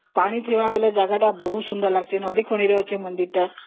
ପାଣି ଥିବା ଜାଗା ଟା ବହୁତ ସୁନ୍ଦର ଲାଗୁଛି ଯେହେତୁ ନଦୀକୂଳରେ ଅଛି ମନ୍ଦିର ଟା